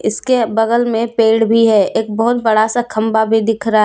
इसके बगल में पेड़ भी है एक बहुत बड़ा सा खंभा भी दिख रहा।